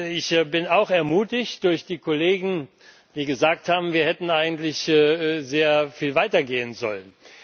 Ich bin auch ermutigt durch die Kollegen, die gesagt haben, wir hätten eigentlich sehr viel weiter gehen sollen.